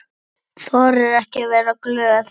Þorir ekki að vera glöð.